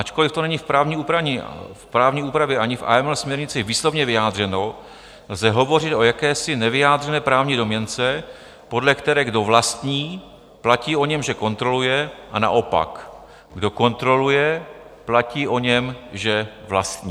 Ačkoliv to není v právní úpravě ani v AML směrnici výslovně vyjádřeno, lze hovořit o jakési nevyjádřené právní domněnce, podle které kdo vlastní, platí o něm, že kontroluje, a naopak, kdo kontroluje, platí o něm, že vlastní.